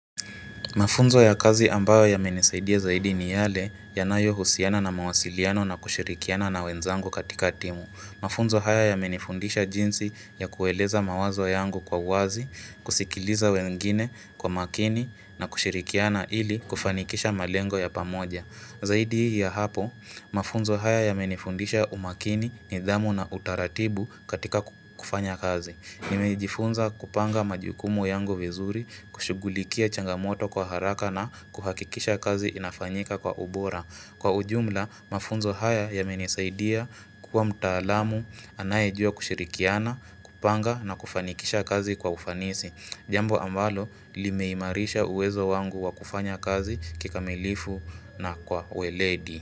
Mafunzo ya kazi ambayo yamenisaidia zaidi ni yale yanayo husiana na mawasiliano na kushirikiana na wenzangu katika timu. Mafunzo haya yamenifundisha jinsi ya kueleza mawazo yangu kwa uwazi, kusikiliza wengine kwa makini na kushirihikiana ili kufanikisha malengo ya pamoja. Zaidi ya hapo, mafunzo haya yamenifundisha umakini nidhamu na utaratibu katika kufanya kazi. Nimejifunza kupanga majukumu yango vizuri, kushugulikia changamoto kwa haraka na kuhakikisha kazi inafanyika kwa ubora. Kwa ujumla, mafunzo haya yamenisaidia, kuwa mtaalamu, anayejua kushirikiana, kupanga na kufanikisha kazi kwa ufanisi. Jambo ambalo limeimarisha uwezo wangu wa kufanya kazi kikamilifu na kwa uweledi.